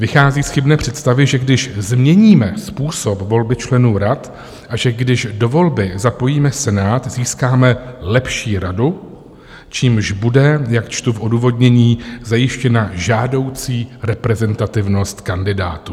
Vychází z chybné představy, že když změníme způsob volby členů rad a že když do volby zapojíme Senát, získáme lepší radu, čímž bude, jak čtu v odůvodnění, zajištěna žádoucí reprezentativnost kandidátů.